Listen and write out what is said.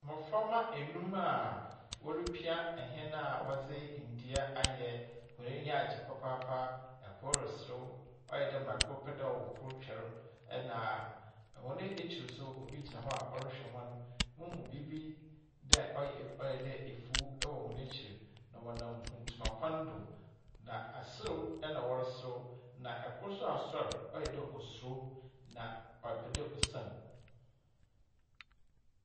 Mmɔframma nnum a wɔrepia hɛn a wɔdze ndua ayɛ. Hɔn enyi agye papaapa. Kor reserew. Ayɛ dɛ ma kor pɛ da wɔ kor twɛr, ɛnna wɔn ekyir nso, obi gyina hɔ a ɔrehwɛ hɔn. Mihu biribi dɛ ɔyɛ ɔyɛ da mfuw wɔ hɔn ekyir, na wɔnam mfutuma kwan do, na aserew na wɔreserew, na ɔkor nso asɔr, ɔyɛ dɛ osuro, na ɔpɛ dɛ osian.